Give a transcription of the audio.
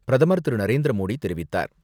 பிரதமர் திரு.நரேந்திரமோடி தெரிவித்தார்.